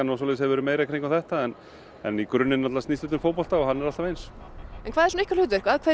hefur verið meiri í kringum þetta en í grunninn snýst þetta um fótbolta og hann er alltaf eins en hvað er svona ykkar hlutverk að hverju